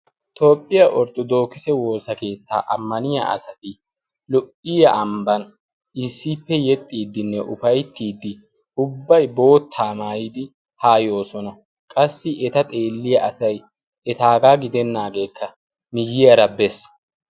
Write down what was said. Toopphiyaa orttodookise woosa keettaa ammaniya asati lo"iya ambban issiippe yexxiiddinne ufaittiiddi ubbai boottaa maayidi haayoosona qassi eta xeelliya asai etaagaa gidennaageekka miyyiyaara bees.